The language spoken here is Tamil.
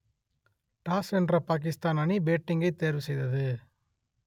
டாஸ் வென்ற பாகிஸ்தான் அணி பேட்டிங்கை தேர்வு செய்தது